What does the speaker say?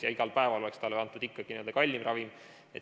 siis igal päeval oleks talle antud ikkagi kallim ravim.